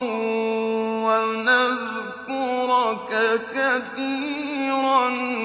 وَنَذْكُرَكَ كَثِيرًا